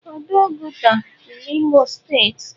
Ọdọ Oguta dị n'Imo steeti.